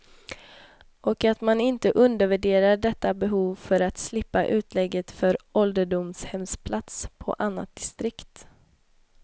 Och att man inte undervärderar detta behov för att slippa utlägget för ålderdomshemsplats på annat distrikt.